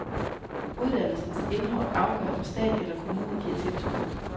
Uddannelsens indhold afgør om stat eller kommune giver tilskud.